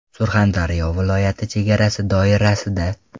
Surxondaryo viloyati chegarasi doirasida.